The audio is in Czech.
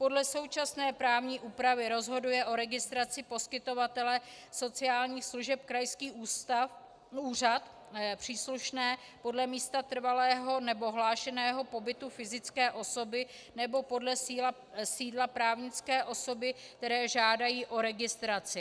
Podle současné právní úpravy rozhoduje o registraci poskytovatele sociálních služeb krajský úřad příslušný podle místa trvalého nebo hlášeného pobytu fyzické osoby nebo podle sídla právnické osoby, která žádá o registraci.